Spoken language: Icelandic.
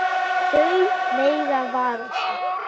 Þau mega vara sig.